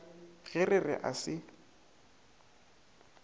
ge re re a se